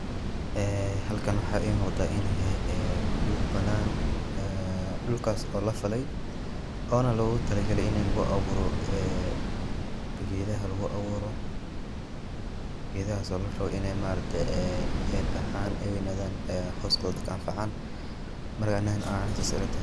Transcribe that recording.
Ee halkaan waxaa ii muqdaa inu yahaay ee dhuul banaan ee dhulkaas oo laa faalay oona loguu talaa gaalay inii laguu abuuro ee gedaaha laguu abuuro. gedahaas oo laa raabo inee maaragte eey baxaan ey weynadaan ee hoskooda dadkaa anfacaan. maarka anii ahaan sas ayeey ilaa tahaay.